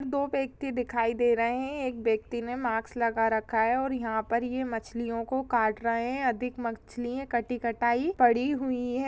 दो व्यक्ति दिखाई दे रहे-- एक व्यक्ति ने मास्क लगा रखा है और यहाँ ये मछलियों को काट रहे है अधिक मछलियां कटी कटाई पड़ी हुई है।